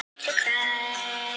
Mokstur er hafin á öllum leiðum